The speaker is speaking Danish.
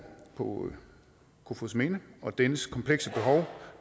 på kofoedsminde og dennes komplekse behov